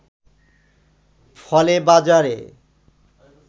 ফলে বাজারে